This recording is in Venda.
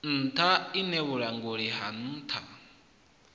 nṱha iṋe vhulanguli ha nṱha